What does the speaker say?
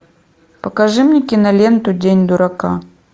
покажи мне киноленту день дурака